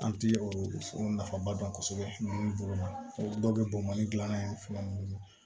An ti o nafaba dɔn kosɛbɛ bolo ma dɔw bɛ bɔn mali gilanna ye fɛn mun bolo